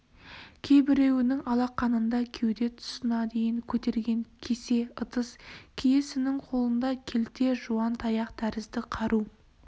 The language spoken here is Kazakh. кейбіреуінің алақанында кеуде тұсына дейін көтерген кесе-ыдыс кейісінің қолында келте жуан таяқ тәрізді қару